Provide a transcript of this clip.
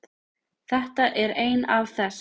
Þetta er ein af þess